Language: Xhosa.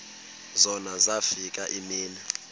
zona zafika iimini